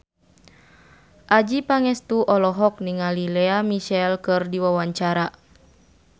Adjie Pangestu olohok ningali Lea Michele keur diwawancara